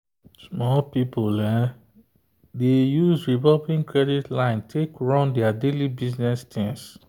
small business people dey use revolving credit line take run their daily business things.